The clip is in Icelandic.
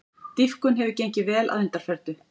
Dýpkun hefur gengið vel að undanförnu